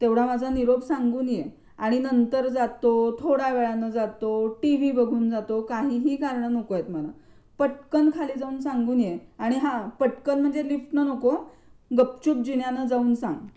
तेवढा माझा निरोप सांगून ये आणि नंतर जातो, थोड्यावेळाने जातो, टीव्ही बघून जातो, काहीही कारण नको येत मला, पटकन खाली जाऊन सांगून ये आणि हां, पटकन म्हणजे लिफ्टन नको हं गपचूप जिन्यान जाऊन सांग.